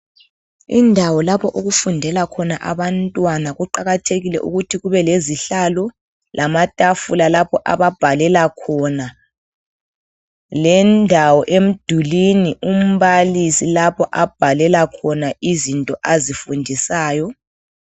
Indawo lapho okufundela khona abantwana kuqakathekile ukuthi kubelezihlalo lamatafula lapho ababhalela khona. Lendawo emdulini umbalisi lapho abhalela khona izinto azifundisayo.